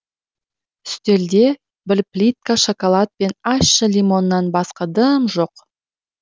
үстелде бір плитка шоколад пен ащы лимоннан басқа дым жоқ